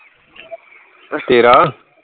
ਤੇਰਾ